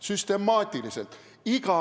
Süstemaatiliselt!